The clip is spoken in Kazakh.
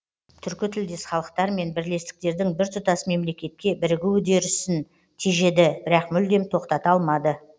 түркі тілдес халықтар мен бірлестіктердің біртұтас мемлекетке бірігу үдерісін тежеді бірақ мүлдем тоқтата алмады